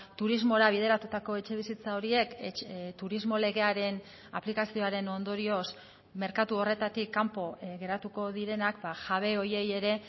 turismora bideratutako etxebizitza horiek turismo legearen aplikazioaren ondorioz merkatu horretatik kanpo geratuko direnak jabe horiei ere